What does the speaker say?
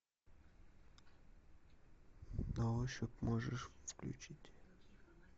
на ощупь можешь включить